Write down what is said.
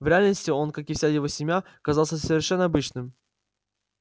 в реальности он как и вся его семья казался совершенно обычным